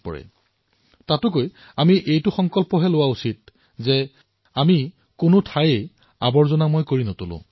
কিন্তু ইয়াৰ পূৰ্বে আমি এয়া সংকল্প গ্ৰহণ কৰিব লাগে যে আমি আৱৰ্জনাই নেপেলাও